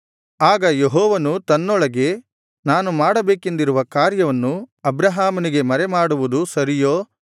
ಆಗ ಯೆಹೋವನು ತನ್ನೊಳಗೆ ನಾನು ಮಾಡಬೇಕೆಂದಿರುವ ಕಾರ್ಯವನ್ನು ಅಬ್ರಹಾಮನಿಗೆ ಮರೆಮಾಡುವುದು ಸರಿಯೋ